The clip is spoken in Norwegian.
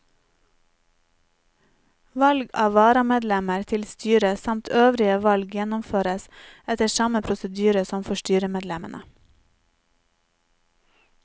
Valg av varamedlemmer til styret samt øvrige valg gjennomføres etter samme prosedyre som for styremedlemmene.